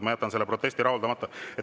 Ma jätan selle protesti rahuldamata.